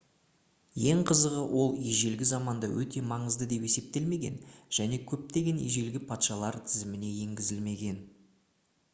ең қызығы ол ежелгі заманда өте маңызды деп есептелмеген және көптеген ежелгі патшалар тізіміне енгізілмеген